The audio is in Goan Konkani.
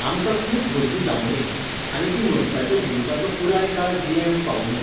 आमकां खूब भुरगीं जांवुंदी आनी तीं मनशाच्या जिविताचो पुराय काळ जियेवंक पावुंदी.